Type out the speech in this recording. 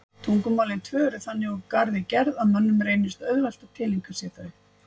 Tungumálin tvö eru þannig úr garði gerð að mönnum reynist auðvelt að tileinka sér þau.